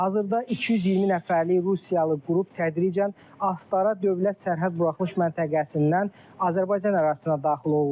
Hazırda 220 nəfərlik Rusiyalı qrup tədricən Astara dövlət sərhəd buraxılış məntəqəsindən Azərbaycan ərazisinə daxil olurlar.